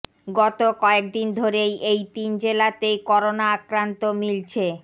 গত কয়েকদিন ধরেই এই তিন জেলাতেই করোনা আক্রান্ত মিলছে